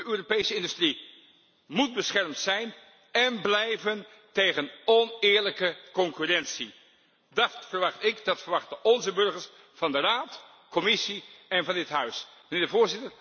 De Europese industrie moet beschermd zijn en blijven tegen oneerlijke concurrentie. Dat verwacht ik, en dat verwachten onze burgers, van de Raad, de Commissie en van dit Parlement.